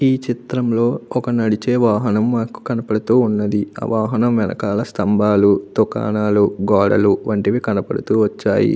ఈ చిత్రం లో ఒక నడిచే వాహనం మనకు కనబడుతూ ఉన్నది ఆ వాహనం వెనకాల స్తంభాలు దుకాణాలు గోడలు వంటివి కనబడుతూ వచ్చాయి.